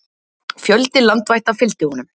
Fjöldi landvætta fylgdi honum.